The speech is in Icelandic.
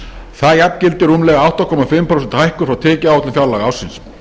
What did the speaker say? það jafngildir rúmlega átta og hálft prósent hækkun frá tekjuáætlun fjárlagaársins